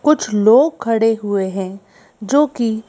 कुछ लोग खड़े हुए है जो की--